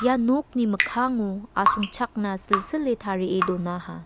nokni mikkango asongchakna silsile tarie donaha.